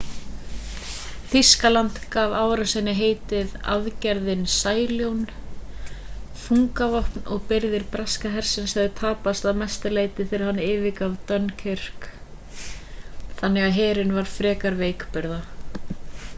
þýskaland gaf árásinni heitið aðgerðin sæljón þungavopn og birgðir breska hersins höfðu tapast að mestu leyti þegar hann yfirgaf dunkirk þannig að herinn var frekar veikburða